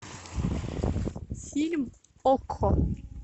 фильм окко